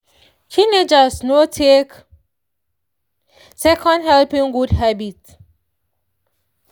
teenagers no take second helping good habit.